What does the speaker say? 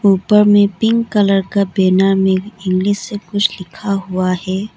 ऊपर में pink colour का बैनर में इंग्लिश से कुछ लिखा हुआ है।